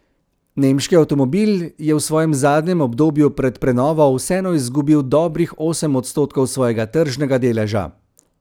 Nemški avtomobil je v svojem zadnjem obdobju pred prenovo vseeno izgubil dobrih osem odstotkov svojega tržnega deleža.